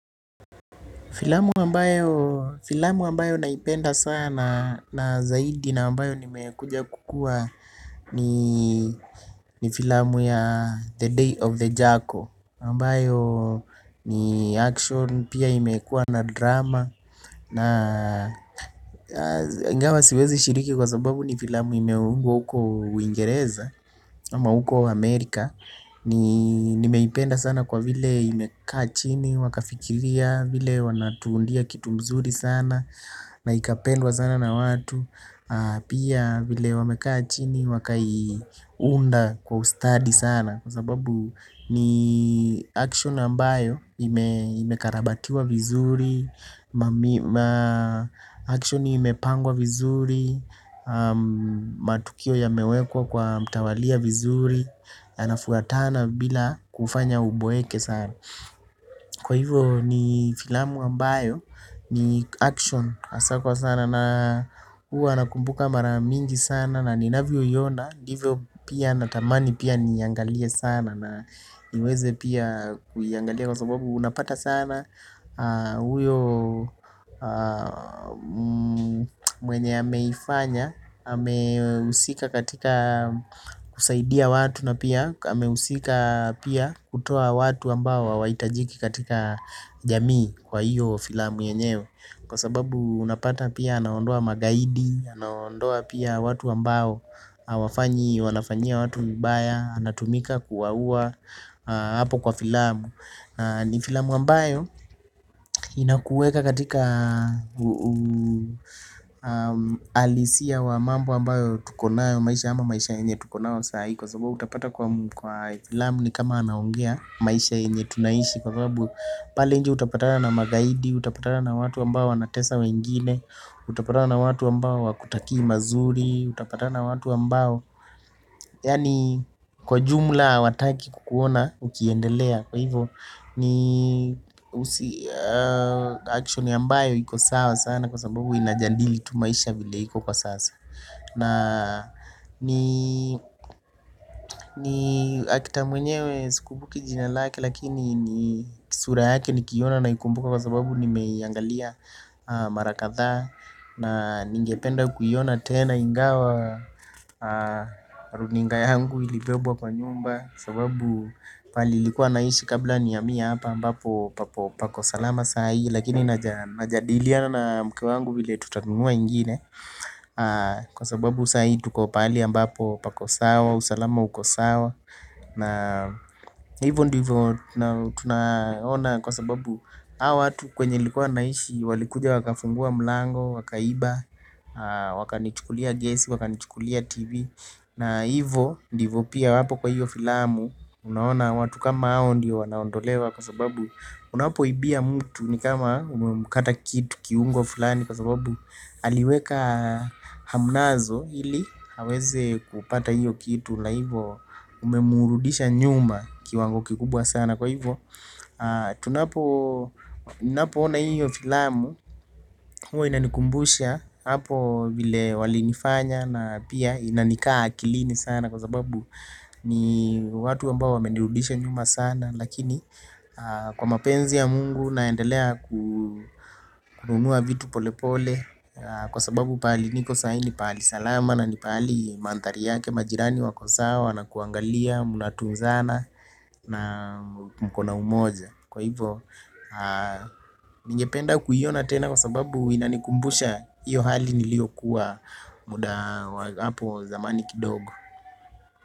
Filamu ambayo naipenda sana na zaidi na ambayo nimekuja kukua ni filamu ya The Day of the Jackal Ambayo ni action pia imekua na drama na ingawa siwezi shiriki kwa sababu ni filamu imeungwa uko uingereza. Ama huko wa Amerika ni nimeipenda sana kwa vile imekaa chini wakafikiria vile wanatuundia kitu mzuri sana na ikapendwa sana na watu. Pia vile wamekachini wakaiunda kwa ustadi sana kwa sababu ni action ambayo imekarabatiwa vizuri ma action imepangwa vizuri. Matukio ya mewekwa kwa mtawalia vizuri. Yanafuatana bila kufanya uboeke sana. Kwa hivyo ni filamu ambayo ni action asaa kwa sana. Na huwa nakumbuka maramingi sana. Na ninavyo iona hivyo pia natamani pia niiangalie sana. Na niweze pia kuiangalia kwa sababu unapata sana. Uyo mwenye ameifanya amehusika katika kusaidia watu na pia ameusika pia kutoa watu ambao hawa hitajiki katika jamii. Kwa hiyo filamu yenyewe kwa sababu unapata pia anaondoa magaidi. Anaondoa pia watu ambao hawafanyi, wanafanyia watu vibaya anatumika kuwa uwa hapo kwa filamu. Ni filamu ambayo inakueka katika uhalisia wa mambo ambayo tukonayo maisha ama maisha yenye tukonayo saa hii kwasababu utapata kwa filamu ni kama anaongea maisha yenye tunaishi kwa sababu pale nje utapata na magaidi, utapata na watu ambao wanatesa wengine. Utapatana na watu ambao hawakutakii mazuri, utapatana na watu ambao yaani kwa jumla hawataki kukuona ukiendelea. Kwa hivyo ni action ambayo iko sawa sana kwasababu inajadili tu maisha vile iko kwa sasa. Na ni actor mwenyewe sikumbuki jina lake lakini kisura yake nikiiona naikumbuka kwa sababu ni meiangalia marakathaa. Na ningependa kuiona tena ingawa runinga yangu ilibebwa kwa nyumba. Kwa sababu pali nilikuwa naishi kabla nihamie hapa ambapo pako salama saa hii. Lakini najadiliana na mke wangu vile tutanunua ingine. Kwa sababu saa hii tuko pahali ambapo pako sawa, usalama uko sawa. Na hivyo ndivyo tunaona kwa sababu hawatu kwenye nilikuwa naishi. Walikuja waka fungua mlango, waka iba, waka nichukulia gas, waka nichukulia tv. Na ivo ndivo pia hapo kwa hiyo filamu. Unaona watu kama hao ndio wanaondolewa. Kwa sababu unapo ibia mtu ni kama umemkata kitu kiungo fulani. Kwa sababu aliweka hamnazo ili haweze kupata hiyo kitu. Na ivo umemurudisha nyuma kiwango kikubwa sana kwa hivo. Tunapo ninapo ona hio filamu. Hua inanikumbusha hapo vile wali nifanya na pia inanikaa akilini sana. Kwa sababu ni watu ambao wamenirudisha nyuma sana. Lakini kwa mapenzi ya mungu naendelea kununua vitu pole pole. Kwa sababu pahali niko sai ni pahali salama na nipahali manthari yake majirani wako sawa. Na kuangalia munatunzana na mkona umoja. Kwa hivo, ningependa kuiona tena kwa sababu inanikumbusha iyo hali nilio kuwa muda hapo zamani kidogo.